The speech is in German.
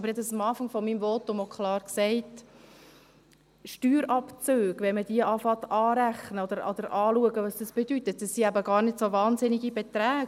Aber ich habe am Anfang meines Votums auch klar gesagt: Wenn man beginnt, Steuerabzüge anzurechnen, zu schauen, was das bedeutet, dann sind es eben gar keine so wahnsinnigen Beträge.